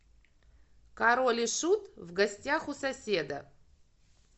король и шут в гостях у соседа